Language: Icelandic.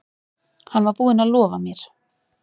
Hann var búinn að lofa mér.